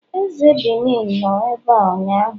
eze Benin nọ ebea ụnyahụ